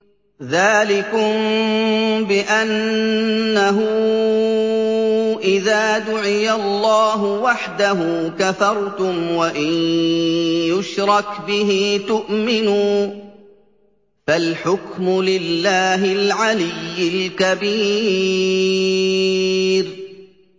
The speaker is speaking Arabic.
ذَٰلِكُم بِأَنَّهُ إِذَا دُعِيَ اللَّهُ وَحْدَهُ كَفَرْتُمْ ۖ وَإِن يُشْرَكْ بِهِ تُؤْمِنُوا ۚ فَالْحُكْمُ لِلَّهِ الْعَلِيِّ الْكَبِيرِ